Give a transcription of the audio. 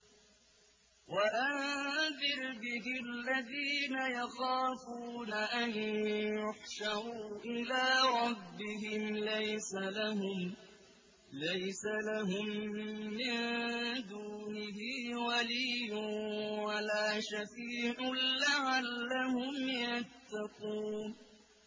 وَأَنذِرْ بِهِ الَّذِينَ يَخَافُونَ أَن يُحْشَرُوا إِلَىٰ رَبِّهِمْ ۙ لَيْسَ لَهُم مِّن دُونِهِ وَلِيٌّ وَلَا شَفِيعٌ لَّعَلَّهُمْ يَتَّقُونَ